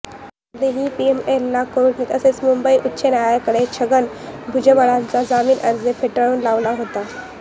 याआधीही पीएमएलए कोर्टाने तसेच मुंबई उच्च न्यायालयाने छगन भुजबळांचा जामीन अर्ज फेटाळून लावला होता